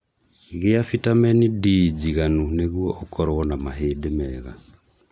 Gĩa bitamini D njiganu nĩguo ũkorwo na mahĩndĩ mega